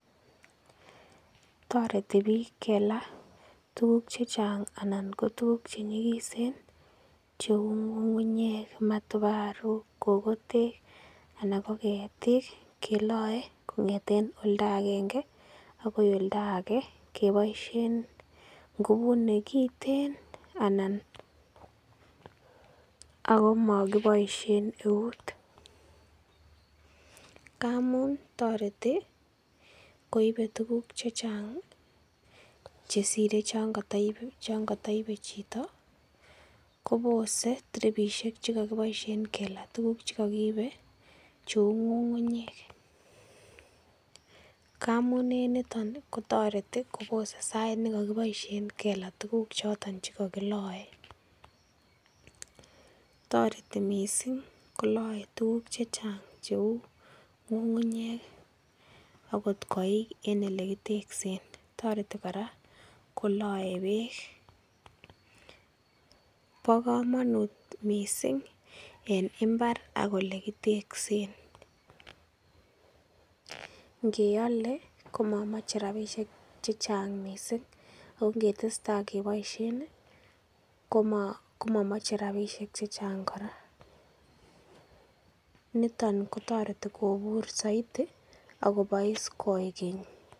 Toreti piik kela tukuk chechang anan tukuk che nyikisen cheu ngungunyek, matobaruk, kokotek ana ketik kelae kongeten oldo akenge agoi oldo age keboisien ngubut nekiten anan akomokiboisien eut, ngamun toreti koibe tukuk chechang ii chesire chon kotoibe chito kobose tiripishek che kokiboisien kela tukuk che kokiibe cheu ngungunyek, ngamun en niton kotoreti kobose sait nekokiboisien kela tukuk choton che kokilae ,toreti mising kolae tukuk chechang cheu ngungunyek akot koik eng ele kiteksen, toreti kora kolae peek ,bo komanut mising en imbar ak ole kiteksen, ngeale ko mamache rabishek chechang mising ak ngetestai koboisien ko mamamche rabisiek chechang kora ,niton kotereti kobur zaidi ak kobois koigeny.